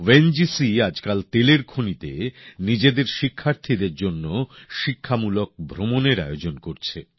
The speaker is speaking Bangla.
ও এন জি সি আজকাল তেলের খনিতে নিজেদের শিক্ষার্থীদের জন্য শিক্ষামূলক ভ্রমণের আয়োজন করছে